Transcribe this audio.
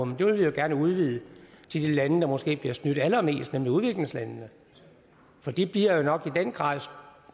men det vil vi jo gerne udvide til de lande der måske bliver snydt allermest nemlig udviklingslandene for de bliver jo nok i den grad